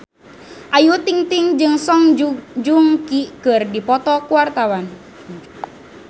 Ayu Ting-ting jeung Song Joong Ki keur dipoto ku wartawan